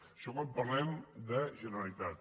això quan parlem de generalitat